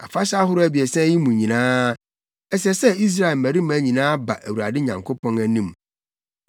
“Afahyɛ ahorow abiɛsa yi mu nyinaa, ɛsɛ sɛ Israel mmarima nyinaa ba Awurade Nyankopɔn anim.